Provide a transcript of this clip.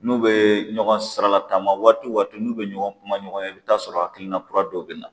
N'u bɛ ɲɔgɔn siralataama waati waati n'u bɛ ɲɔgɔn kuma ɲɔgɔnya i bɛ taa sɔrɔ hakilina kura dɔ bɛ na.